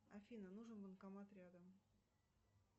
афина нужен банкомат рядом